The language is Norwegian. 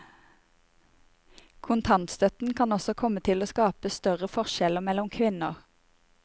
Kontantstøtten kan også komme til å skape større forskjeller mellom kvinner.